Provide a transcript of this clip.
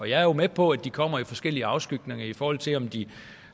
jeg er med på at de kommer i forskellige afskygninger i forhold til om de